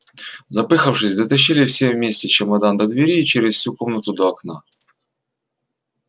запыхавшись дотащили все вместе чемодан до двери и через всю комнату до окна